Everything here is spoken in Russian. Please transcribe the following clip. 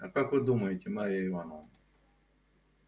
а как вы думаете марья ивановна